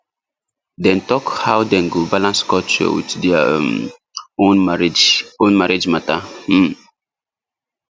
dem talk how dem go balance culture with their um own marriage own marriage matter um